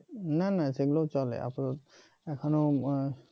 না না সেগুলো চলে আসলে এখনো